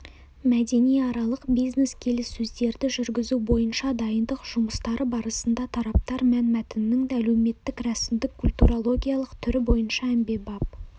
мәдениаралық бизнес-келіссөздерді жүргізу бойынша дайындық жұмыстары барысында тараптар мәнмәтіннің әлеуметтік рәсімдік культурологиялық түрі бойынша әмбебап